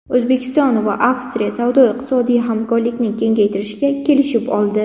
O‘zbekiston va Avstriya savdo-iqtisodiy hamkorlikni kengaytirishga kelishib oldi.